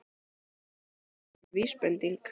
Er það einhver vísbending?